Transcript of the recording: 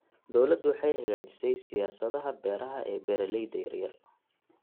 Dawladdu waxay hagaajisay siyaasadaha beeraha ee beeralayda yaryar.